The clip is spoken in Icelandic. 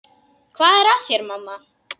Hvað er að þér, mamma?